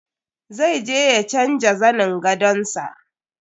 Zai je ya canja zanin gadon sa.